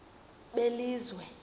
belizwe